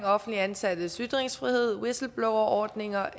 offentligt ansattes ytringsfrihed whistleblowerordninger